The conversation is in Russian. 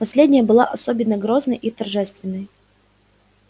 последняя была особенно грозной и торжественной